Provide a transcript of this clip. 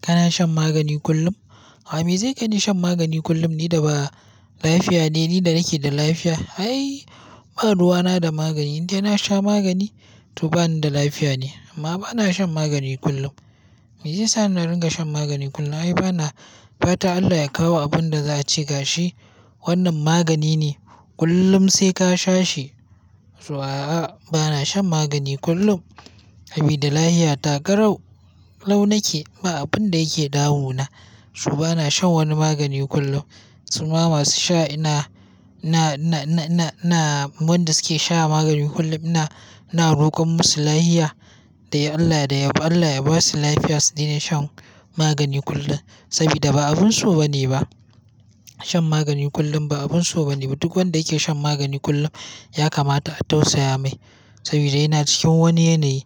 Kana shan magani kullum? Me zai kaini shan magani kullum? Ni da ba lafiya ne, ni da nake da lafiya. Ai, baruwana da magani, indai na sha magani to bani da lafiya ne. Amma bana shan magani kullum. Me ya sa ni na ringa shan magani kullum? Ai, bana fata Allah ya kawo abin da za a ce ga shi. Wannan magani ne, kullum sai ka sha shi. To a'a, bana shan magani kullum. Sabida lafiya garau lau na ke, ba abin da yake damuna. Su bana shan wani magani kullum. Su ma masu sha ina, ina, ina, ina, wanda suke sha magani kullum ina, ina rokon musu lafiya da Allah da yaba. Allah ya ba su lafiya, su dina shan magani kullum. Sabida ba abin so ba ne ba. Shan magani kullum ba abin so ba ne ba. Duk wanda yake shan magani kullum ya kamata a tausaya mai. Sabida yana cikin wani yanayi,